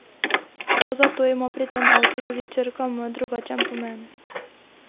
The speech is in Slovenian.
Prav zato ima pri tem avtu tudi črka M drugačen pomen.